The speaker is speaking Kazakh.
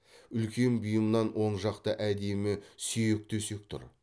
үлкен бұйымынан оң жақта әдемі сүйек төсек тұр